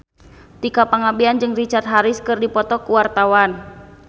Tika Pangabean jeung Richard Harris keur dipoto ku wartawan